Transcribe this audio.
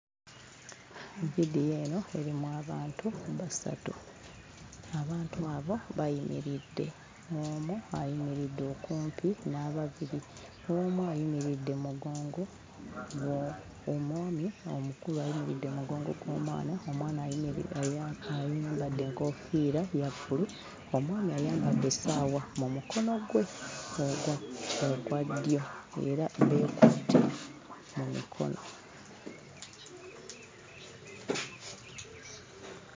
Vidiyo eno erimu abantu basatu. Abantu abo bayimiridde, omu ayimiridde okumpi n'ababiri, omu ayimiridde mu mugongo gwo omwami omukulu ayimiridde mu mugongo gw'omwana, omwana ayimiri ayambadde enkoofiira ya bbulu, omwami ayambadde essaawa mu mukono gwe ogwa ogwa ddyo era beekutte mu mikono.